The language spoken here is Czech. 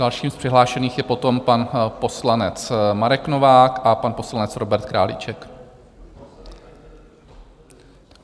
Další z přihlášených je potom pan poslanec Marek Novák a pan poslanec Robert Králíček.